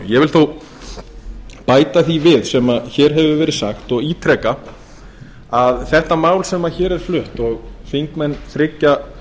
vil þó bæta því við sem hér hefur verið sagt og ítreka að þetta mál sem hér er flutt og þingmenn þriggja